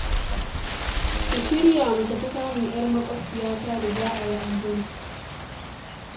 Ku shirya mu tafi kamun 'yar maƙwabciyata da za a yi an jima